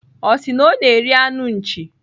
Ọ sị na ọ na-eri anụ nchi.